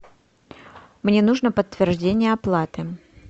мне нужно подтверждение оплаты